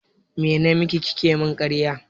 Me namaki kike mun ƙarya?